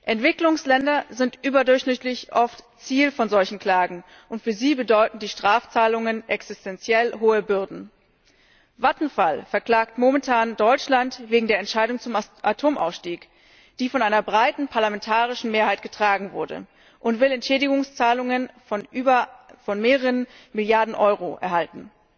Entwicklungsländer sind überdurchschnittlich oft Ziel solcher Klagen, und für sie bedeuteten die Strafzahlungen existenziell hohe Bürden. Vattenfall verklagt momentan Deutschland wegen der Entscheidung zum Atomausstieg, die von einer breiten parlamentarischen Mehrheit getragen wurde, und will Entschädigungszahlungen von mehreren Milliarden Euro erhalten.